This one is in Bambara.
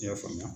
I y'a faamuya